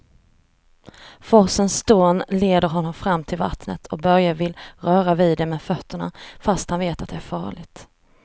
Forsens dån leder honom fram till vattnet och Börje vill röra vid det med fötterna, fast han vet att det är farligt.